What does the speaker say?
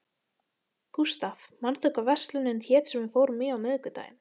Gustav, manstu hvað verslunin hét sem við fórum í á miðvikudaginn?